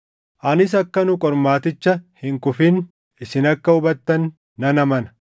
Anis akka nu qormaaticha hin kufin isin akka hubattan nan amana.